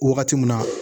Wagati mun na